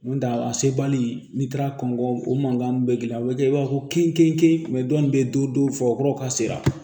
N'o tɛ a sebali n'i taara kɔngɔ o mankan bɛ girin a bɛ kɛ i b'a fɔ kin ke dɔ in bɛ don don fɔ kuraw ka se